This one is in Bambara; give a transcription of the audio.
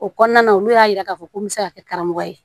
O kɔnɔna olu y'a yira k'a fɔ ko n bɛ se ka kɛ karamɔgɔ ye